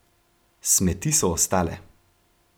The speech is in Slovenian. Smeti so ostale.